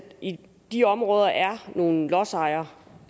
i de områder er nogle lodsejere